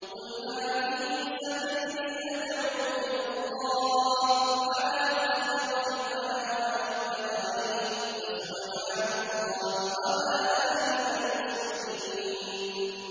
قُلْ هَٰذِهِ سَبِيلِي أَدْعُو إِلَى اللَّهِ ۚ عَلَىٰ بَصِيرَةٍ أَنَا وَمَنِ اتَّبَعَنِي ۖ وَسُبْحَانَ اللَّهِ وَمَا أَنَا مِنَ الْمُشْرِكِينَ